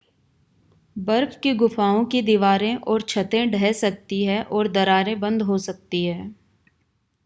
बर्फ की गुफाओं की दीवारें और छतें ढह सकती हैं और दरारें बंद हो सकती हैं